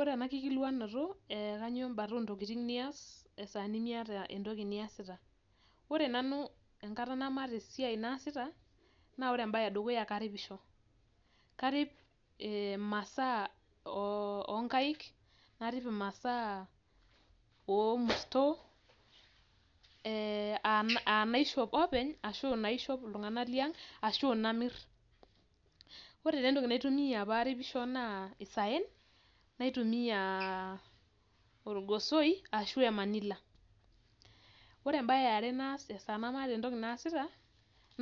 Ore ena kikulikuanoto kanyio embata oo ntokitin nia esaa nimiata entoki niasita, ore nanu esaa namaata entoki naasita naa ore embaye edukuya naa karipisho karip imasaa oo nkaik, narip imasaa oo murto ee aa inaishop openy, inaishop iltunganak tiang' arashu inamir. Ore taa entoki naitumia paa aripisho naa isayen naitumiya, naitumiya olgosoi ashuu aa emanila. Ore embae eare naas esaa namaata entoki naasita,